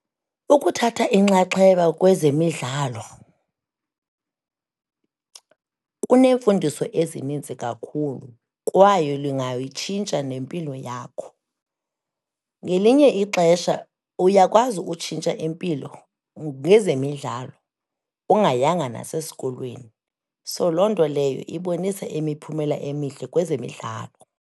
Ukuthatha inxaxheba kwezemidlalo kuneemfundiso ezininzi kakhulu, kwaye lingayitshintsha nempilo yakho. Ngelinye ixesha uyakwazi utshintsha impilo ngezemidlalo, ungayanga nasesikolweni. So, loo nto leyo ibonisa imiphumela emihle kwezemidlalo.